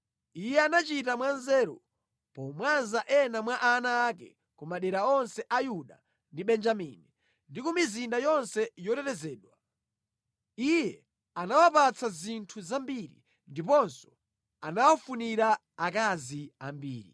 Iye anachita mwanzeru, pomwaza ena mwa ana ake ku madera onse a Yuda ndi Benjamini, ndi ku mizinda yonse yotetezedwa. Iye anawapatsa zinthu zambiri ndiponso anawafunira akazi ambiri.